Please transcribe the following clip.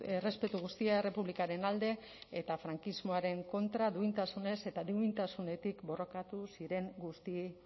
errespetu guztia errepublikaren alde eta frankismoaren kontra duintasunez eta duintasunetik borrokatu ziren guzti